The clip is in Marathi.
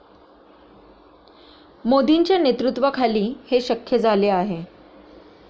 मोदींच्या नेतृत्वाखाली हे शक्य झाले आहे.